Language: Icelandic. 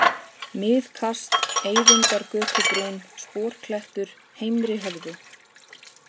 Miðkast, Eyvindargötubrún, Sporklettur, Heimrihöfði